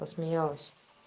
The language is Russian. посмеялась